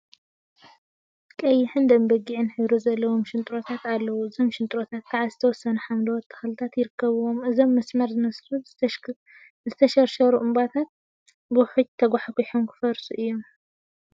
ቀይሕን ደም በጊዕን ሕብሪ ዘለዎም ሽንጥሮታት አለው። እዞም ሽንጥሮታት ከዓ ዝተወሰኑ ሓምለዎት ተክሊታት ይርከቡዎም። እዞም መስመር ዝመስሉ ዝተሸርሸሩ እምባታት ብውሕጅ ተጓሕጊሖም ክፈርሱ እዮም።